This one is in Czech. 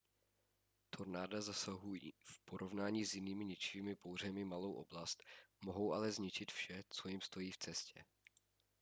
tornáda zasahují v porovnání s jinými ničivými bouřemi malou oblast mohou ale zničit vše co jim stojí v cestě